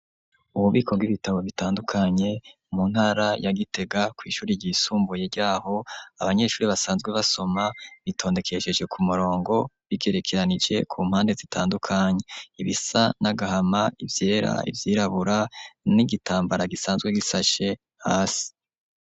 Ububiko bw'ibitabo bitandukanye mu ntara ya Gitega kw'ishuri ryisumbuye ryaho abanyeshuri basanzwe basoma bitondekesheje ku murongo bigerekeranije ku mpande zitandukanye, ibisa n'agahama, ivyera, ivyirabura n'igitambara gisanzwe gisashe hasi.